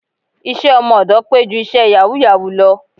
Iṣẹ́ ọmọ ọ̀dọ̀ pé ju iṣẹ́ yàwúù-yàwúù lọ